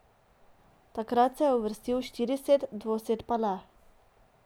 Takrat se je uvrstil štirised, dvosed pa ne.